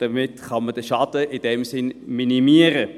In diesem Sinn kann man den Schaden minimieren.